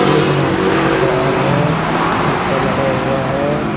एक मास्टर दिख रहा है शीशा लगा हुआ है।